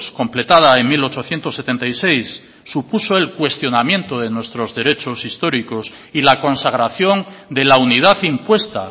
completada en mil ochocientos setenta y seis supuso el cuestionamiento de nuestros derechos históricos y la consagración de la unidad impuesta